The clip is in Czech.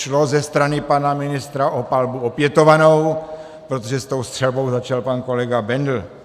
Šlo ze strany pana ministra o palbu opětovanou, protože s tou střelbou začal pan kolega Bendl.